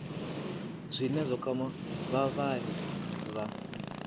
zwine zwa kwama vhavhali vha